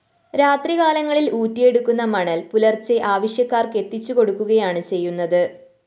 രാത്രികാലങ്ങളില്‍ ഊറ്റിയെടുക്കുന്ന മണല്‍ പുലര്‍ച്ചെ ആവശ്യക്കാര്‍ക്ക് എത്തിച്ചു കൊടുക്കുകയാണ് ചെയ്യുന്നത്